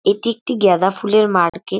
এটি একটি গেঁদা ফুলের মার্কেট ।